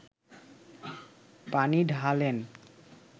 পানি ঢালেন